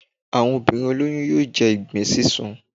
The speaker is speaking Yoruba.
Àwọn obinrin olóyún yóò jẹ ìgbín sísun.